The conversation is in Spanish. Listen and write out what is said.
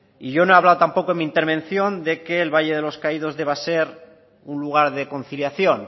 y yo no he hablado tampoco en mi intervención de que el valle de los caídos deba ser un lugar de conciliación